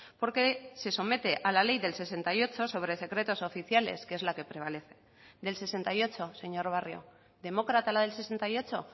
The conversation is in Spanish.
porque se somete a la ley del sesenta y ocho sobre secretos oficiales que es la que prevalece del sesenta y ocho señor barrio demócrata la del sesenta y ocho